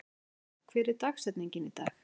Þóra, hver er dagsetningin í dag?